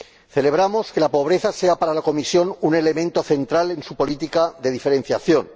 Celebramos que la pobreza sea para la Comisión un elemento central en su política de diferenciación.